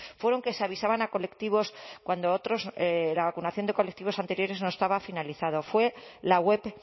fueron que se avisaban a colectivos cuando otros la vacunación de colectivos anteriores no estaba finalizado fue la web